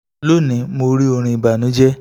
loni mo ri ọrin ibanujẹ